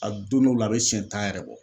A don dɔw la a bɛ siyɛn tan yɛrɛ bɔ.